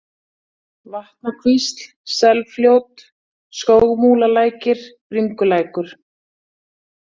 Vatnakvísl, Selfljót, Skógsmúlalækir, Bringulækur